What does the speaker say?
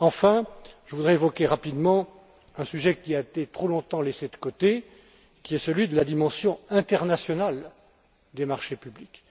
mai. Enfin, je voudrais évoquer rapidement un sujet qui a été trop longtemps laissé de côté, à savoir celui de la dimension internationale des marchés publics.